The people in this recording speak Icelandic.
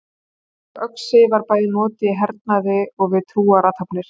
Slík öxi var bæði notuð í hernaði og við trúarathafnir.